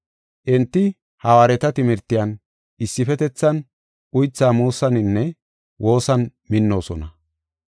Enti hawaareta timirtiyan, issifetethan, uytha muusaninne woosan minnoosona.